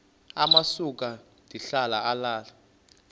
amasuka ndihlala ale